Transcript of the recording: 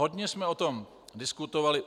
Hodně jsme o tom diskutovali.